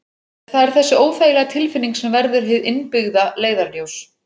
Það er þessi óþægilega tilfinning sem verður hið innbyggða leiðarljós.